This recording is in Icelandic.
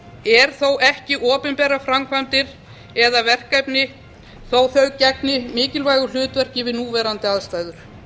er þó ekki opinberar framkvæmdir eða verkefni þó að þau gegni mikilvægu hlutverki við núverandi aðstæður